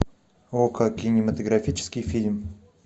окко кинематографический фильм